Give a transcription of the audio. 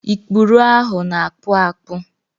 Ikpụrụ ahụ na-akpụ akpụ.